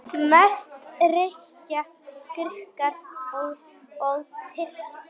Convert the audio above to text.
Mest reykja Grikkir og Tyrkir.